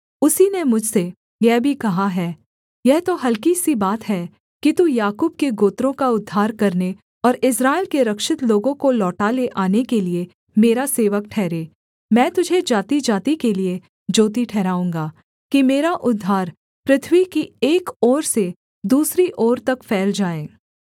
उसी ने मुझसे यह भी कहा है यह तो हलकी सी बात है कि तू याकूब के गोत्रों का उद्धार करने और इस्राएल के रक्षित लोगों को लौटा ले आने के लिये मेरा सेवक ठहरे मैं तुझे जातिजाति के लिये ज्योति ठहराऊँगा कि मेरा उद्धार पृथ्वी की एक ओर से दूसरी ओर तक फैल जाए